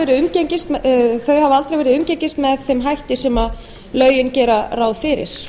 verið umgengin með þeim hætti sem lögin gera ráð fyrir